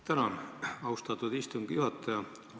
Tänan, austatud istungi juhataja!